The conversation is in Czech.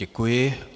Děkuji.